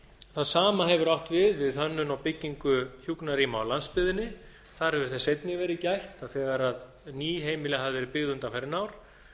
það sama hefur átt við við hönnun á byggingu hjúkrunarrýma á landsbyggðinni þar hefur árs einnig verið gætt að þegar ný heimili hafa verið byggð undanfarin ár